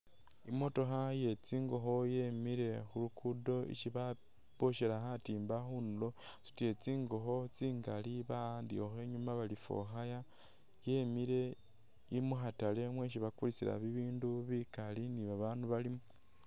I'motokha iye tsingokho yemile khu lugudo isi boshela khatimba khundulo, yasutile tsingokho tsingali ba'andikhakho inyuma bari for hire yemile ili mu khatale mwesi bakulisila bibindu bikaali ni babaandu balimo.